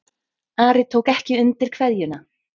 Ari tók ekki undir kveðjuna.